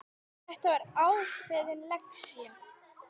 Þetta var ákveðin lexía.